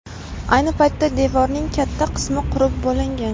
Ayni paytda devorning katta qismi qurib bo‘lingan.